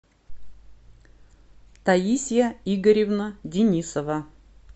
таисия игоревна денисова